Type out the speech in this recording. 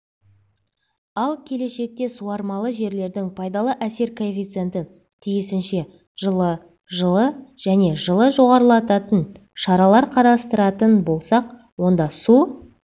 ал келешекте суармалы жерлердің пайдалы әсер коэффициентін тиісінше жылы жылы және жылы жоғарылататын шаралар қарастыратын болсақ онда су